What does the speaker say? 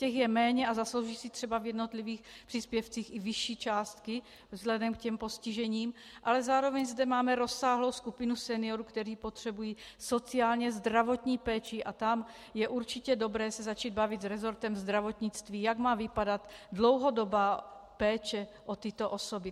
Těch je méně a zaslouží si třeba v jednotlivých příspěvcích i vyšší částky vzhledem k těm postižením, ale zároveň zde máme rozsáhlou skupinu seniorů, kteří potřebují sociálně zdravotní péči, a tam je určitě dobré se začít bavit s resortem zdravotnictví, jak má vypadat dlouhodobá péče o tyto osoby.